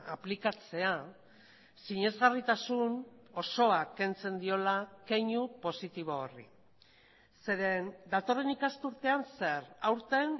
aplikatzea sinesgarritasun osoa kentzen diola keinu positibo horri zeren datorren ikasturtean zer aurten